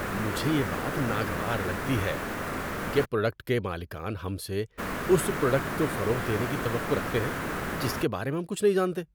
مجھے یہ بات ناگوار لگتی ہے کہ پروڈکٹ کے مالکان ہم سے اس پروڈکٹ کو فروغ دینے کی توقع رکھتے ہیں جس کے بارے میں ہم کچھ نہیں جانتے۔